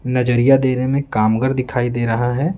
नजरिया देने में कामगर दिखाई दे रहा है।